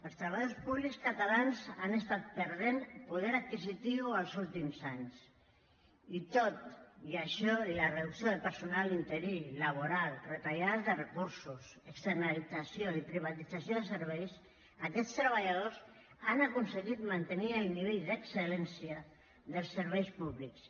els treballadors públics catalans han estat perdent poder adquisitiu els últims anys i tot i això i la reducció del personal interí laboral retallades de recursos externalització i privatització de serveis aquests treballadors han aconseguit mantenir el nivell d’excel·lència dels serveis públics